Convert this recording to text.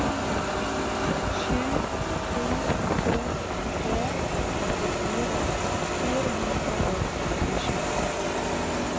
sju to to tre trettifire fire hundre og femtisju